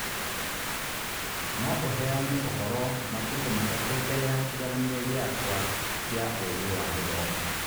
No ũheane ũhoro matukũ matatũ mbere ya kĩgeranio gĩakwa kĩa ũgĩ wa gĩthomo.